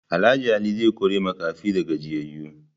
Alh Ali zai kori makafi da gajiyayu.